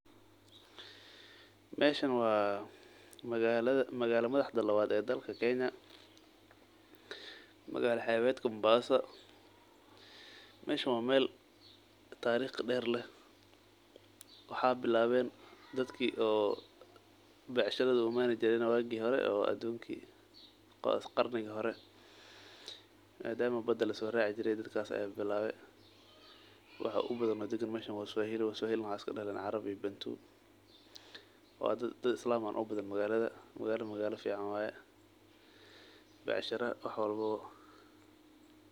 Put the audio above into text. Meshan waa magala lawaxda lawaat dalka kenya, magala xebetka Mombasa. Meshan waa meel tarikh deer leeh waxa bilaween dadke oo bacsharadha uu imani jireen waaqi hore oo adunki oo qarni hore madama baada lasoraci jire dadkaas aya bilawe. Waxa ubadhan meshan waa maswahili waxa iskadaleen carab iyo bantu. Waa daad islaam baa ubadhan magala magala fican waye bacshara wax walbaba.